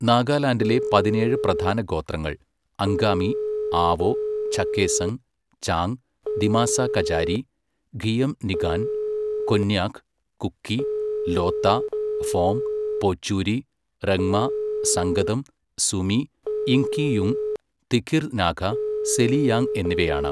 നാഗാലാൻഡിലെ പതിനേഴ് പ്രധാന ഗോത്രങ്ങൾ അംഗാമി, ആവോ, ചഖേസങ്, ചാങ്, ദിമാസാ കചാരി, ഖിയംനിംഗാൻ, കൊന്യാക്, കുക്കി, ലോത്ത, ഫോം, പോച്ചൂരി, റെങ്മ, സംഗതം, സുമി, യിംഖിയുങ്, തിഖിർ നാഗ, സെലിയാങ് എന്നിവയാണ്.